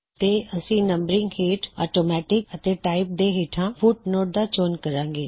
ਤੇ ਅਸੀ ਨੰਬਰਿੰਗ ਹੇਠ ਔਟੋਮੈਟਿਕ ਅਤੇ ਟਾਇਪ ਦੇ ਹੇਠਾਂ ਫੁਟਨੋਟ ਦਾ ਚੋਣ ਕਰਾਂਗੇ